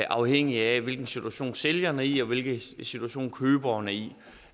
afhængigt af hvilken situation sælgeren er i og hvilken situation køberen er i